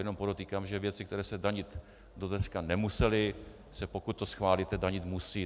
Jenom podotýkám, že věci, které se danit do dneška nemusely, se, pokud to schválíte, danit musí.